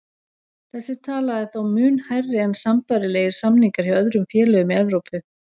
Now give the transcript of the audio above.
Þessi tala er þó mun hærri en sambærilegir samningar hjá öðrum félögum í Evrópu.